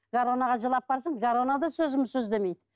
гороно ға жылап барсам гороно да сөзімді сөз демейді